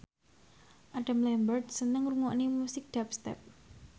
Adam Lambert seneng ngrungokne musik dubstep